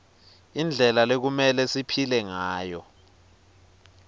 indlela lekumelwe siphile ngayo